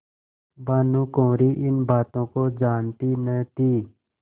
भानुकुँवरि इन बातों को जानती न थी